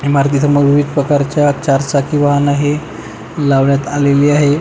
इमारती समोर विविध प्रकारच्या चार चाकी वाहन हे लावण्यात आलेले आहे.